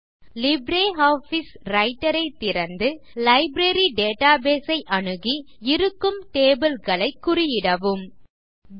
LibreOffice Writer ஐ திறந்து library database ஐ அணுகி இருக்கும் டேபிள் களை குறியிடவும் 2